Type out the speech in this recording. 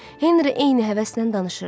Henri eyni həvəslə danışırdı.